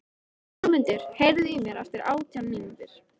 Fjólmundur, heyrðu í mér eftir átján mínútur.